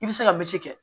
I bɛ se ka misi kɛ